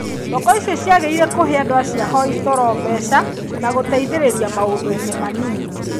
Thoko icio ciagĩrĩire kũhe andũ acio ahoi toro mbeca na gũteithĩrĩria maũndũ-inĩ manini.